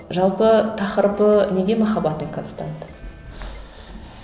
жалпы тақырыбы неге махаббатым констант